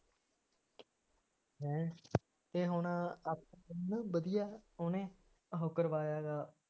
ਹੈਂ ਅਤੇ ਹੁਣ ਆਪ ਕਿੰਨੇ ਵਧੀਆ ਉਹਨੇ ਇਹਨੂੰ ਕਰਵਾਇਆ ਹੈਗਾ